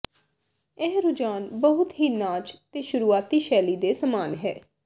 ਇਹ ਰੁਝਾਨ ਬਹੁਤ ਹੀ ਨਾਚ ਦੇ ਸ਼ੁਰੂਆਤੀ ਸ਼ੈਲੀ ਦੇ ਸਮਾਨ ਹੈ